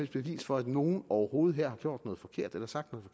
bevis for at nogen her overhovedet har gjort noget forkert eller sagt noget